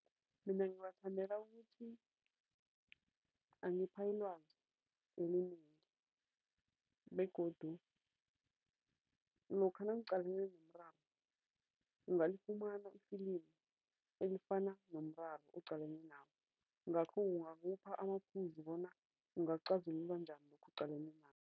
Mina ngiwathandela ukuthi angipha ilwazi elinengi begodu lokha nangiqalene nomraro, ungalifumana ifilimu elifana nomraro oqalane nawo, ngakho kungakupha amaphuzu bona ungacazulula njani lokhu oqalene nakho.